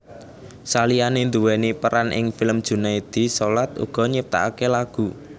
Saliyane nduweni peran ing film Junaedi Salat uga nyiptakake lagu